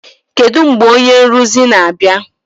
Kedu mgbe onye nrụzi na-abịa?